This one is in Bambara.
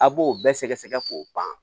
A b'o bɛɛ sɛgɛsɛgɛ k'o ban